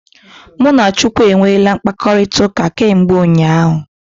Mụ na Chukwu e nweele mkpakọrịtaụka kemgbe ụnyaahụ.